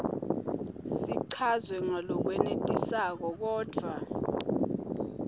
sichazwe ngalokwenetisako kodvwa